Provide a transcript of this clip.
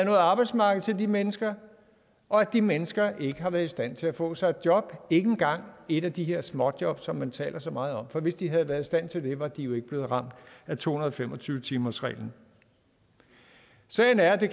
arbejdsmarked til de mennesker og at de mennesker ikke har været i stand til at få sig et job ikke engang et af de her småjobs som man taler så meget om for hvis de havde været i stand til det var de jo ikke blevet ramt af to hundrede og fem og tyve timersreglen sagen er at det